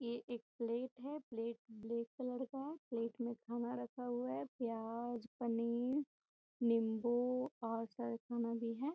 ये एक प्लेट है प्लेट ब्लैक कलर का है प्लेट मे खाना रखा हुआ है प्याज पनीर नींबू और सारा खाना भी है।